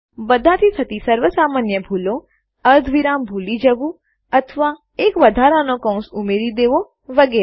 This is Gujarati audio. બધાથી થતી સર્વ સામાન્ય ભૂલો અર્ધવિરામ સેમીકોલન ભૂલી જવું અથવા એક વધારાનો કૌંસ ઉમેરી દેવો વગેરે